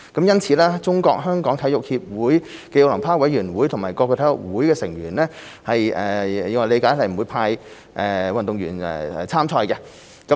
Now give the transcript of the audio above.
因此，我理解中國香港體育協會暨奧林匹克委員會及各體育總會成員不會派出運動員參賽。